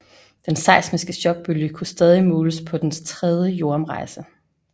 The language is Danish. Den seismiske chokbølge kunne stadig måles på dens tredje jordomrejse